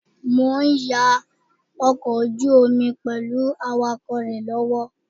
Mo ń ya ọkọ̀ ojú omi pẹ̀lú awakọ̀ rẹ lọ́wọ́